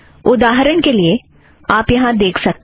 उदाहरण के लिए आप यहाँ देख सकते हैं